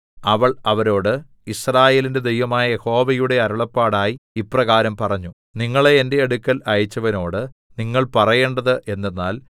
അവൾ അവരോട് യിസ്രായേലിന്റെ ദൈവമായ യഹോവയുടെ അരുളപ്പാടായി ഇപ്രകാരം പറഞ്ഞു നിങ്ങളെ എന്റെ അടുക്കൽ അയച്ചവനോട് നിങ്ങൾ പറയേണ്ടത് എന്തെന്നാൽ